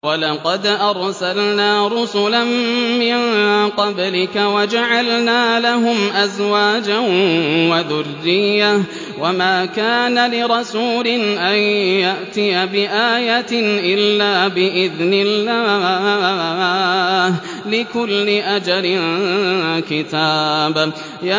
وَلَقَدْ أَرْسَلْنَا رُسُلًا مِّن قَبْلِكَ وَجَعَلْنَا لَهُمْ أَزْوَاجًا وَذُرِّيَّةً ۚ وَمَا كَانَ لِرَسُولٍ أَن يَأْتِيَ بِآيَةٍ إِلَّا بِإِذْنِ اللَّهِ ۗ لِكُلِّ أَجَلٍ كِتَابٌ